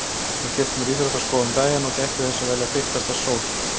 Ég keypti mér íþróttaskó um daginn og gætti þess að velja þykkasta sól